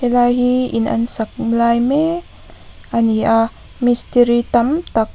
he lai hi in an sak lai mek ani a mistiri tam tak --